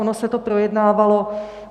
Ono se to projednávalo.